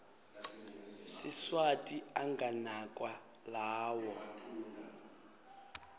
siswati anganakwa lawo